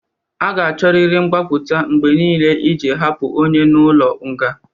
A ga-achọrịrị mgbapụta mgbe niile iji hapụ onye nọ n'ụlọ nga.